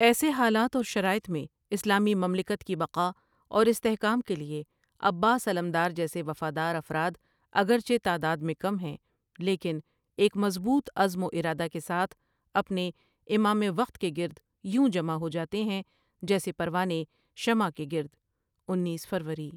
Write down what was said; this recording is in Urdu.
ایسے حالات اور شرائط میں اسلامی مملکت کی بقاء اور استحکام کے لیے عباس علمدار ؑجیسے وفادار افراد اگرچہ تعداد میں کم ہیں لیکن ایک مضبوط عزم و ارادہ کے ساتھ اپنے امام وقت کے گرد یوں جمع ہوجاتے ہیں جیسے پروا نے شمع کے گرد. انیس فروری،